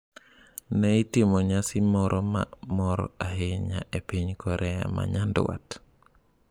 Ne itimo nyasi moro ma mor ahinya e piny Korea ma Nyanduat